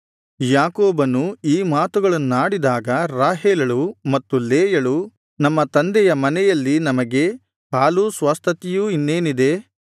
ಯಾಕೋಬನು ಈ ಮಾತುಗಳನ್ನಾಡಿದಾಗ ರಾಹೇಲಳು ಮತ್ತು ಲೇಯಳು ನಮ್ಮ ತಂದೆಯ ಮನೆಯಲ್ಲಿ ನಮಗೆ ಪಾಲೂ ಸ್ವಾಸ್ತ್ಯತೆ ಇನ್ನೇನಿದೆ